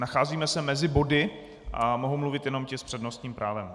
Nacházíme se mezi body a mohou mluvit jenom ti s přednostním právem.